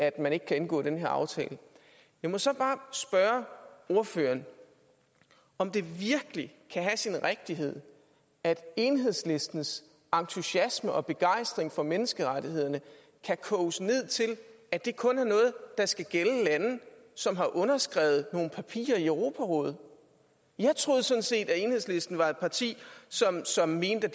at man ikke kan indgå den her aftale jeg må så bare spørge ordføreren om det virkelig kan have sin rigtighed at enhedslistens entusiasme og begejstring for menneskerettighederne kan koges ned til at det kun er noget der skal gælde lande som har underskrevet nogle papirer i europarådet jeg troede sådan set at enhedslisten var et parti som mente